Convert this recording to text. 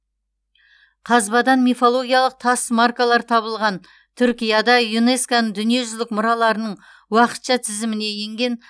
қазбадан мифологиялық тас маркалар табылған түркияда юнеско ның дүниежүзілік мұраларының уақытша тізіміне енген